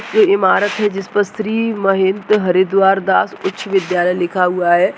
ये ईमारत है जिसपर श्री महंत हरिद्वार दास उच्च विद्यालय लिखा हुआ है।